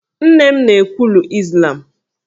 Nne m na-ekwulu Izlam